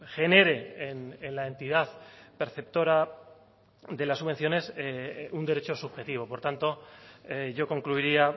genere en la entidad perceptora de las subvenciones un derecho subjetivo por tanto yo concluiría